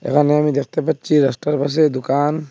এখানে আমি দেখতে পাচ্ছি রাস্তার পাশে দোকান।